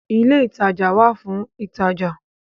ilé ìtajà wà fún ìtajà